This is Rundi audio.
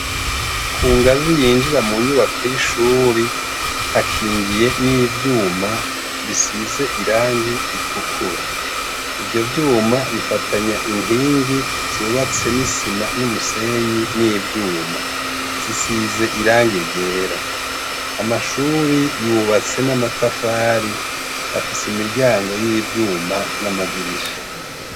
Ku ngazi yinjira mu nyubako y'ishuri hakingiye n'ivyuma bisize irangi itukura ivyo vyuma bifatanya inkingi zubatse n'isima n'umusenyi n'ivyuma zisize irangi ryera amashuri yubatse na matafari afise imiryango y'ivyuma n'amadirisha.